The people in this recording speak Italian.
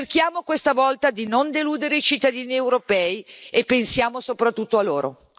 Cerchiamo questa volta di non deludere i cittadini europei e pensiamo soprattutto a loro.